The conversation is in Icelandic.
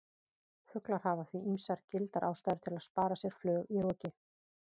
Fuglar hafa því ýmsar gildar ástæður til að spara sér flug í roki!